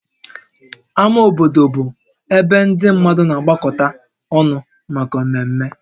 Ámá obodo bụ ebe ndị mmadụ na-agbakọta ọnụ maka mmemme